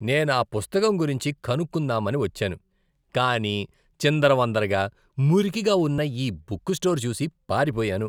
నేను ఆ పుస్తకం గురించి కనుక్కుందామని వచ్చాను కానీ చిందరవందరగా, మురికిగా ఉన్న ఈ బుక్ స్టోర్ చూసి పారిపోయాను.